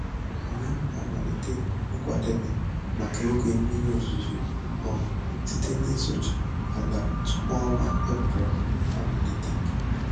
Anyị na-amalite nkwadebe maka oge mmiri ozuzo um site n'isucha ala tupu ọnwa Eprel amalite.